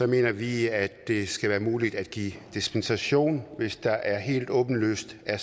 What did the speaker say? mener vi at det skal være muligt at give dispensation hvis der er er helt åbenlyst at